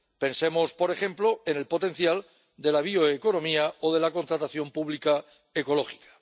Pensemos, por ejemplo, en el potencial de la bioeconomía o de la contratación pública ecológica.